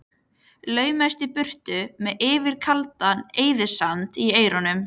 Laumaðist í burtu með Yfir kaldan eyðisand í eyrunum.